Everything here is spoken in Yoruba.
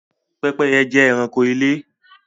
Pẹ́pẹ́yẹ jẹ́ ẹranko ilé